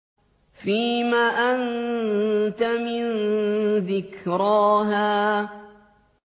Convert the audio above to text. فِيمَ أَنتَ مِن ذِكْرَاهَا